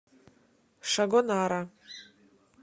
шагонара